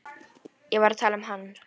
Ég var að tala um hann.